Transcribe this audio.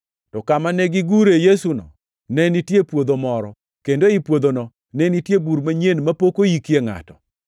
To kama negigure Yesuno ne nitie puodho moro, kendo ei puodhono ne nitie bur manyien mapok oike ngʼato.